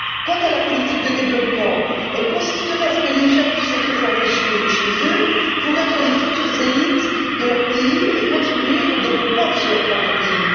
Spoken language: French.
Quant à la politique de développement, elle consisterait à ce que les jeunes puissent être formés chez eux pour être les futures élites de leur pays et contribuer au développement de leur propre pays.